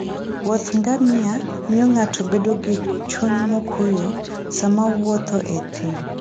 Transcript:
Wuoth Ngamia miyo ng'ato bedo gi chuny mokuwe sama owuotho e thim.